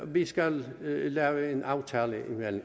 vi skal lave en aftale